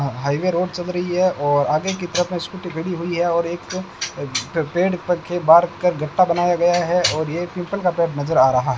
highway road चल रही है और आगे की तरफ स्कूटी खड़ी हुई है और एक पेड़ पर के बाहर कर घटा बनाया गया है और ये पीपल का पेड़ नजर आ रहा --